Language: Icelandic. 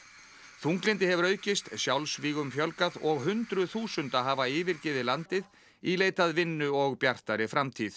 þunglyndi hefur aukist sjálfsmorðum fjölgað og hundruð þúsunda hafa yfirgefið landið í leit að vinnu og bjartari framtíð